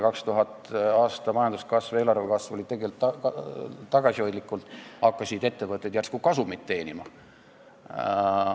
2000. aasta majanduskasv, eelarvekasv oli tegelikult tagasihoidlik, kuid ettevõtted hakkasid järsku kasumit teenima.